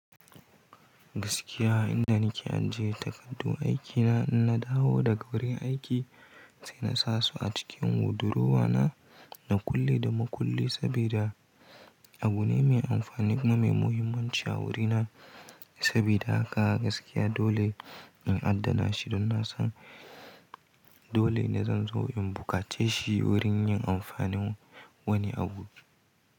Gaskiya inda nake ajiye takardu aikina in na dawo da gaure aiki sai na sa su a cikin durowa na, na kulle da makulle sabida abu ne mai amfani kuma muhimmanci a wurina. Sabida haka gaskiya dole in adana shi don na san dole ne zan zo in bukace shi wurin yin amfani wani abu.